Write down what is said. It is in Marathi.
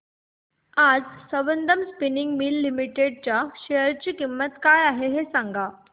आज संबंधम स्पिनिंग मिल्स लिमिटेड च्या शेअर ची किंमत काय आहे हे सांगा